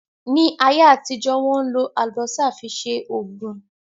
Ní ayé àtijọ́, Wọ́n ń lò Àlùbọ́sà fi ṣe Ògùn